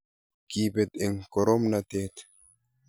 Kiteb eng koromnatet